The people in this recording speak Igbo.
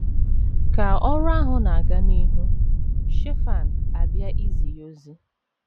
Ka ọrụ ahụ na - aga n’ihu, Shefan abịa izi ya ozi.